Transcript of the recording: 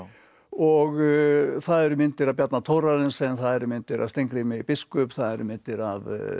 og það eru myndir af Bjarna Thorarensen og það eru myndir af Steingrími biskup það eru myndir af